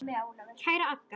Kæra Agga.